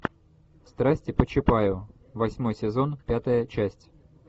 страсти по чапаю восьмой сезон пятая часть